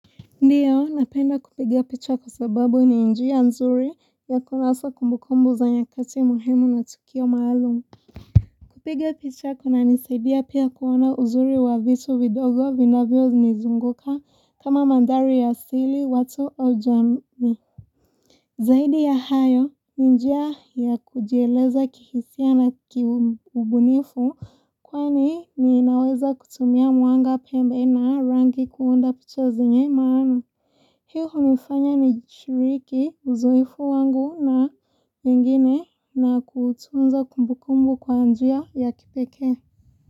Ndiyo, napenda kupiga pichwa kwa sababu ni njia nzuri ya kunasa kumbukumbu za nyakati muhimu na tukio maalumu. Kupiga pichwa kunanisaidia pia kuona uzuri wa vitu vidogo vinavyonizunguka kama mandhari ya asili watu au jamii. Zaidi ya hayo, ni njia ya kujieleza kihisia na kiubunifu kwani ninaweza kutumia mwanga pembe na rangi kuunda picha zenye maana. Hii hunifanya nishiriki uzoefu wangu na wengine na kutunza kumbukumbu kwa njia ya kipekee.